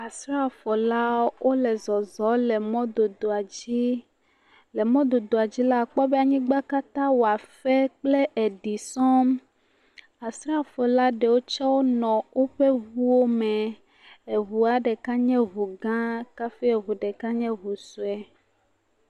Asrafo la wo le zɔzɔm le mɔdodoa dzi. le mɔdodoa dzi la akpɔ be anyigba katã wɔ efe kple eɖi sɔŋ. Asrafo la ɖewo tse wonɔ woƒe ŋuwo me. Eŋua ɖeka nye ŋu gã. Kafi eŋua ɖekla nye ŋu vi.